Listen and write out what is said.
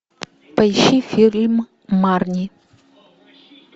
поищи фильм марни